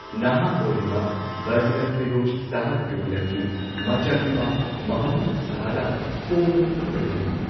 ꯅꯍꯥ ꯑꯣꯏꯔꯤꯕ ꯋꯥꯖꯤꯔ ꯐꯤꯔꯨꯖ ꯁꯥꯍ ꯇꯨꯘꯂꯨꯛꯀꯤ ꯃꯆꯥꯅꯨꯄꯥ, ꯃꯨꯍꯝꯃꯗ ꯁꯥꯍꯒ ꯐꯣꯡꯅ ꯃꯨꯛꯅꯕ ꯂꯩꯔꯝꯃꯤ꯫